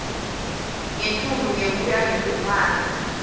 ngetulu ngekuya ngekufaka